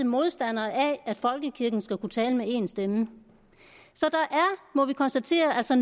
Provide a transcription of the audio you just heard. modstandere af at folkekirken skal kunne tale med én stemme så der er må vi konstatere altså